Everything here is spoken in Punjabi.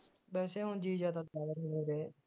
ਵੈਸੇ ਹੁਣ ਜੀ ਜਾ